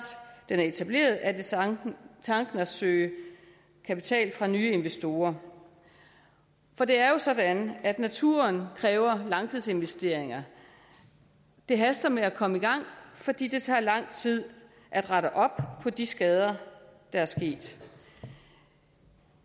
den er etableret er det tanken tanken at søge kapital fra nye investorer for det er jo sådan at naturen kræver langtidsinvesteringer det haster med at komme i gang fordi det tager lang tid at rette op på de skader der er sket